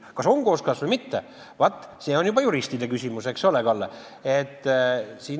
Kas on kooskõlas või mitte, see on juba juristide küsimus, eks ole, Kalle.